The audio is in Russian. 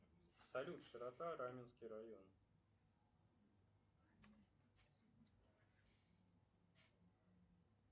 салют широта раменский район